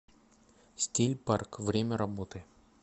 стильпарк время работы